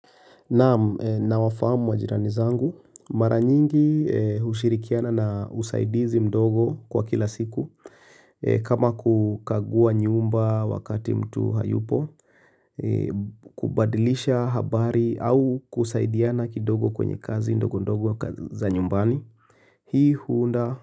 Naam nawafahamu majirani zangu mara nyingi hushirikiana na usaidizi mdogo kwa kila siku kama kukagua nyumba wakati mtu hayupo. Kubadilisha habari au kusaidiana kidogo kwenye kazi ndogo ndogo za nyumbani hii huunda.